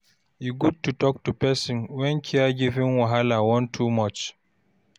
E good to talk to person when caregiving wahala wan too much.